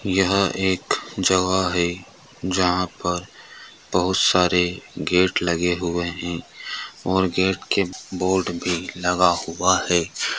यह एक जगह है। जहां पर बहुत सारे गेट लगे हुए हैं। और गेट के बोर्ड भी लगे हुए हैं।